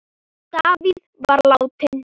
Davíð var látinn.